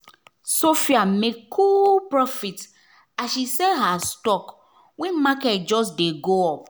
sophia make cool profit as she sell her stock when market just dey go up.